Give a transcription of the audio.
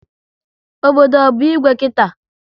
Obodo ọ bụ Igwe kita?